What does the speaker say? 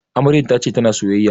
Amaryar ta ce ta na sayayya